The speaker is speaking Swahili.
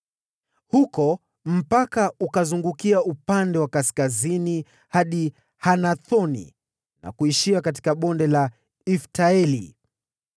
Huko mpaka ukazungukia upande wa kaskazini hadi Hanathoni na kuishia katika Bonde la Ifta-Eli.